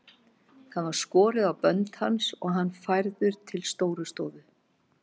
Það var skorið á bönd hans og hann færður til Stórustofu.